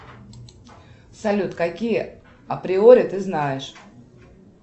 салют какие априори ты знаешь